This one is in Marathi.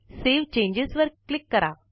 सावे चेंजेस वर क्लिक करा